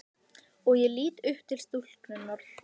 Og ég lít upp til stúlkunnar.